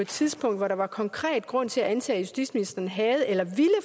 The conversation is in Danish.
tidspunkt hvor der var konkret grund til at antage at justitsministeren havde eller ville